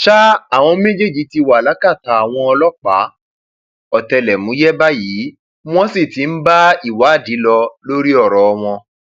ṣá àwọn méjèèjì ti wà lákàtà àwọn ọlọpàá ọtẹlẹmúyẹ báyìí wọn sì ti ń bá ìwádìí lọ lórí ọrọ wọn